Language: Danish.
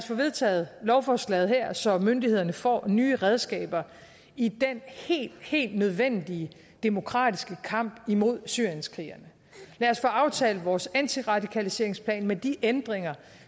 får vedtaget lovforslaget her så myndighederne får nye redskaber i den helt helt nødvendige demokratiske kamp mod syrienskrigerne lad os få aftalt vores antiradikaliseringsplan med de ændringer